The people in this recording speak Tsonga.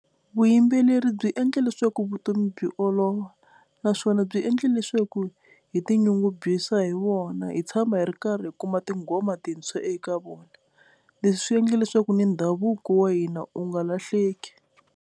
Vuyimbeleri byi endla leswaku vutomi byi olova naswona byi endle leswaku hi tinyungubyisa hi wona hi tshama hi ri karhi hi kuma tinghoma tintshwa eka vona, leswi swi endle leswaku ni ndhavuko wa hina u nga lahleki.